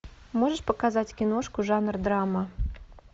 можешь показать киношку жанр драма